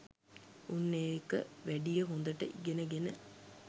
උන් ඒක වැඩිය හොඳට ඉගෙන ගෙන